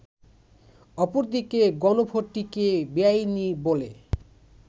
অপরদিকে গণভোটটিকে বেআইনি বলে